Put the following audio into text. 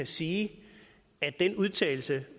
sige at den udtalelse